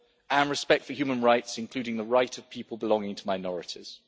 and respect for human rights, including the right of people belonging to minorities.